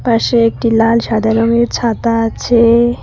পাশে একটি লাল সাদা রঙের ছাতা আছে।